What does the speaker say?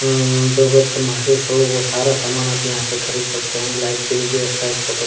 उम्म जरूरत महसूस हो वो सारा सामान आप यहाँ से खरीद सकते है लाइट की भी व्यवस्था इस फोटो --